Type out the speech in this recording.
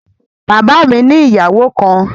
Bàbá mi ni ìyàwó kan